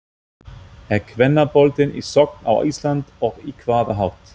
Er kvennaboltinn í sókn á Íslandi og á hvaða hátt?